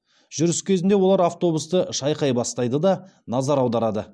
жүріс кезінде олар автобусты шайқай бастайды да назар аударады